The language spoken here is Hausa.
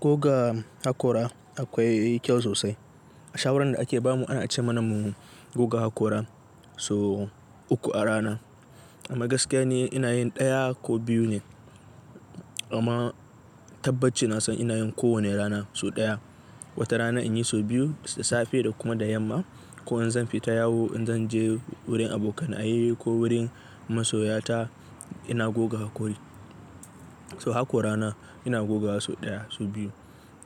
Goga hakora akwai kyau sosai. A shawaran da ake bamu ana ce mana mu goga hakora so uku a rana. Amma gaskiya ni ina yin daya ko biyu ne. Amma tabbaci na san ina yin kowane rana so daya. Wata rana in yi so biyu, da safe da kuma da yamma. Ko in zan fita yawo, in zan je wurin abokanaye ko wurin masoya ta ina goga hakori. So hakorana ina gogawa so daya so biyu.